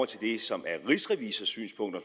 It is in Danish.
til det som er rigsrevisors synspunkt og